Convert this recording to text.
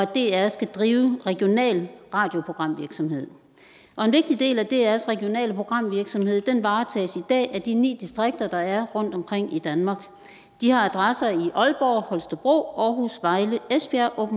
dr skal drive regional radioprogramvirksomhed og en vigtig del af drs regionale programvirksomhed varetages i dag af de ni distrikter der er rundtomkring i danmark de har adresser i aalborg holstebro aarhus vejle esbjerg